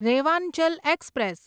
Rewanchal express